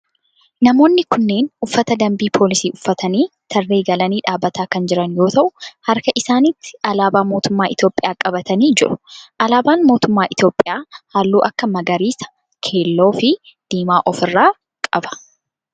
Namoonni kunneen uffata dambii poolisii uffatanii tarree galanii dhaabbatanii kan jiran yoo ta'u harka isaanitti alaabaa mootummaa Itiyoophiyaa qabatanii jiru. alaabaan mootummaa Itiyoophiyaa halluu akka magariisa, keelloo fi diimaa of irraa qaba.